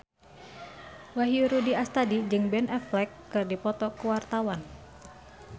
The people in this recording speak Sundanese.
Wahyu Rudi Astadi jeung Ben Affleck keur dipoto ku wartawan